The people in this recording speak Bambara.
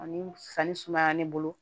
Ani sanni sumaya ne bolo